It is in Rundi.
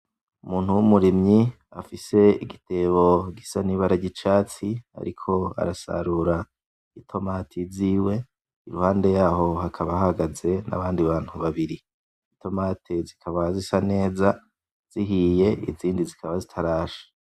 Umuntu w'umurimyi afise igitebo gisa n'ibara ry'icatsi, ariko arasarura i tomati ziwe, iruhande yaho hakaba hahagaze n'abandi bantu babiri, itomati zikaba zisa neza zihiye, izindi zikaba zitarasha.